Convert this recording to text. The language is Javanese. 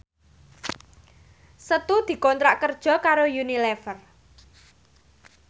Setu dikontrak kerja karo Unilever